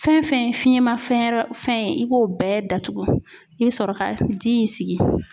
Fɛn fɛn ye fiyɛn mafɛn wɛrɛ fɛn ye i b'o bɛɛ datugu i bɛ sɔrɔ ka ji in sigi.